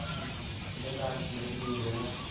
ਹਮ ਹਮ ਬੰਦਾ ਆਸ਼ਕੀ ਤੋਂ ਵੀ ਦੂਰ ਰਹਿੰਦਾ